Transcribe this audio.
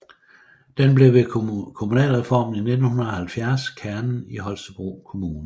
Den blev ved kommunalreformen i 1970 kernen i Holstebro Kommune